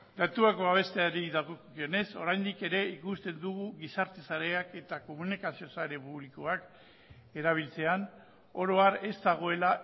datuak babesteari dagokionez oraindik ere ikusten dugu gizarte sareak eta komunikazio sare publikoak erabiltzean oro har ez dagoela